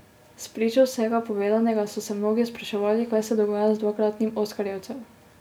Spričo vsega povedanega so se mnogi spraševali, kaj se dogaja z dvakratnim oskarjevcem.